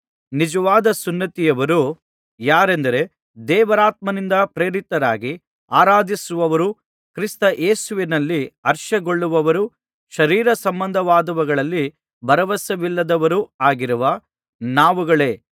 ನಿಜವಾದ ಸುನ್ನತಿಯವರು ಯಾರೆಂದರೆ ದೇವರಾತ್ಮನಿಂದ ಪ್ರೇರಿತರಾಗಿ ಆರಾಧಿಸುವವರೂ ಕ್ರಿಸ್ತ ಯೇಸುವಿನಲ್ಲಿ ಹರ್ಷಗೊಳ್ಳುವವರೂ ಶರೀರಸಂಬಂಧವಾದವುಗಳಲ್ಲಿ ಭರವಸವಿಲ್ಲದವರೂ ಆಗಿರುವ ನಾವುಗಳೇ